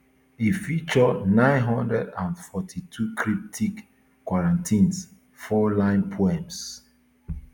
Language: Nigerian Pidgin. e feature nine hundred and forty-two cryptic quatrains fourline poems